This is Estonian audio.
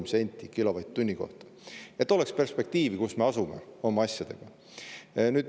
oleks perspektiivi, kus me oma asjadega asume.